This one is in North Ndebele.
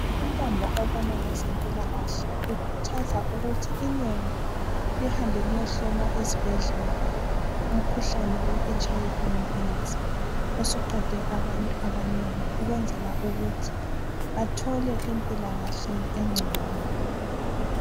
Untambo obona ngezempilakahle ukhuthaza ukuthi inengi lihambe liyehlola esibhedlela umkhuhlane weHIV leAids ukwenzela ukuthi bathole impilakahle engcono.